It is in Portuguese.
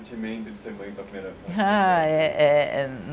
O sentimento de ser mãe pela primeira vez. Ah, é...